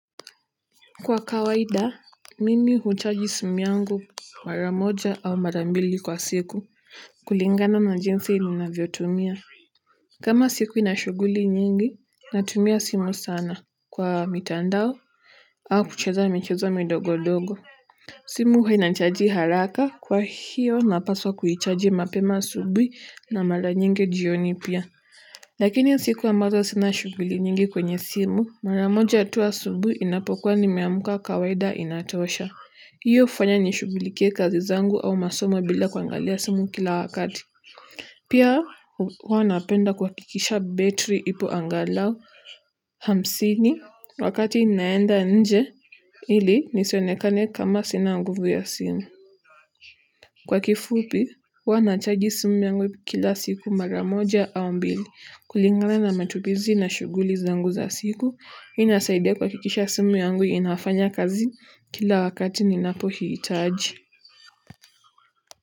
Kwa kawaida, mimi huchaji simu yangu mara moja au mara mbili kwa siku kulingana na jinsi ninavyotumia. Kama siku ina shughuli nyingi, natumia simu sana kwa mitandao au kucheza michezo midogo-dogo. Simu huwa inachaji haraka kwa hiyo napaswa kuichaji mapema asubuhi na mara nyingi jioni pia. Lakini siku ambazo sina shuguli nyingi kwenye simu, mara moja tu asubuhi inapokuwa nimeamka kawaida inatosha. Hiyo hufanya nishugulikie kazi zangu au masomo bila kuangalia simu kila wakati. Pia, huwa napenda kuhakikisha betri ipo angalau hamsini wakati naenda nje, ili nisionekane kama sina nguvu ya simu. Kwa kifupi huwa nachaji simu yangu kila siku mara moja au mbili kulingana na matumizi na shughuli zangu za siku hii inasaidia kuhakikisha simu yangu inafanya kazi kila wakati ninapoihitaji.